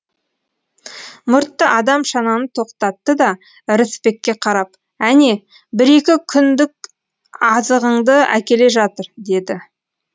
мұртты адам шананы токтатты да ырысбекке қарап әне бір екі күндік азығыңды әкеле жатыр деді